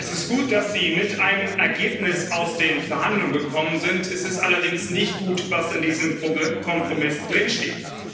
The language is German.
Es ist gut, dass Sie mit einem Ergebnis aus den Verhandlungen gekommen sind, es ist allerdings nicht gut, was in diesem Kompromiss drinsteht.